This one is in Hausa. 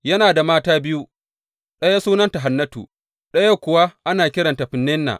Yana da mata biyu, ɗaya sunanta Hannatu, ɗayan kuwa ana kiranta Feninna.